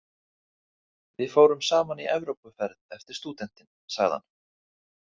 Við fórum saman í Evrópuferð eftir stúdentinn, sagði hann.